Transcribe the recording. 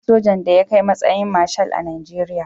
Babu sojan da ya kai matsayin Marshal a Najeriya.